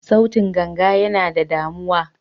Sautin ganga yana da damuwa.